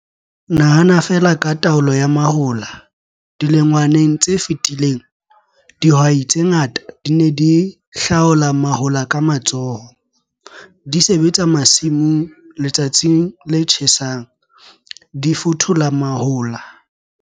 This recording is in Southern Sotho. Nahana feela ka taolo ya mahola - dilengwaneng tse fetileng, dihwai tse ngata di ne di hlaola mahola ka matsoho, di sebetsa masimong letsatsing le tjhesang, di fothola mahola.